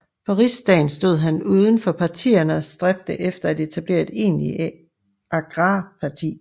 På Rigsdagen stod han uden for partierne og stræbte efter at etablere et egentligt agrarparti